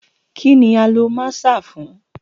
Kini a lo maaṣer fun?